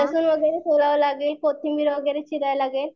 हा लसुन वगैरे सोलावा लागेल कोथिंबीर वगैरे चिराव लागेल